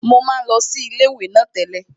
Mo máa ń lọ sí ilé ìwé náà tẹ́lẹ̀